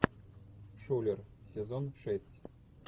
шулер сезон шесть